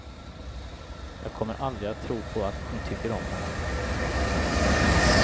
Jag kommer aldrig att tro på att ni tycker om honom.